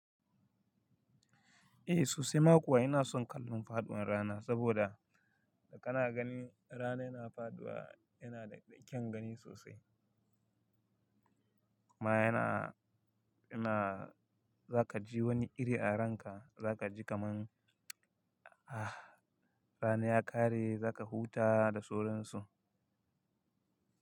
Eh sosai ma kuwa ina son kallon faɗuwan rana saboda da kana gani rana yana faɗuwa yana da kyan gani sosai. Kuma yana, yana za ka ji wani iri a ranka za ka ji kaman ah rana ya ƙare za ka huta da sauran su.